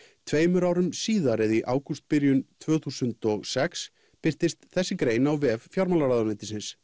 tveimur árum síðar í ágústbyrjun tvö þúsund og sex birtist þessi grein á vef fjármálaráðuneytisins